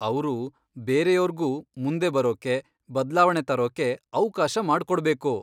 ಅವ್ರು ಬೇರೆಯೋರ್ಗೂ ಮುಂದೆ ಬರೋಕೆ, ಬದ್ಲಾವಣೆ ತರೋಕೆ ಅವ್ಕಾಶ ಮಾಡ್ಕೊಡ್ಬೇಕು.